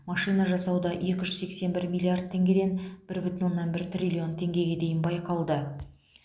машина жасауда екі жүз сексен бір миллард теңгеден бір бүтін оннан бір триллион теңгеге дейін байқалды